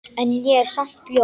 En ég er samt ljón.